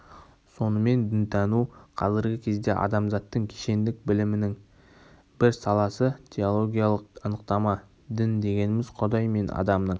сонымен дінтану қазіргі кезде адамзаттың кешендік білімінің бір саласы теологиялық анықтама дін дегеніміз құдай мен адамның